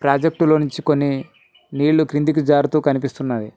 ప్రాజెక్ట్లో నుంచి కొన్ని నీళ్లు క్రిందకి జరుతూ కనిపిస్తున్నవి.